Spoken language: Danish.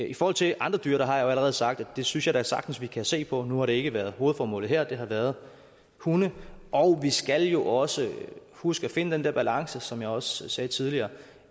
i forhold til andre dyr har jeg jo allerede sagt at det synes jeg da sagtens vi kan se på nu har det ikke været hovedformålet her det har været hunde og vi skal jo også huske at finde den der balance som jeg også sagde tidligere